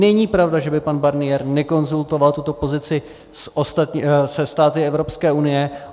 Není pravda, že by pan Barnier nekonzultoval tuto pozici se státy Evropské unie.